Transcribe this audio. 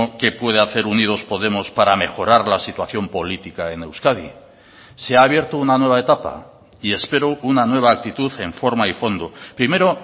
qué puede hacer unidos podemos para mejorar la situación política en euskadi se ha abierto una nueva etapa y espero una nueva actitud en forma y fondo primero